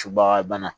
Subaga bana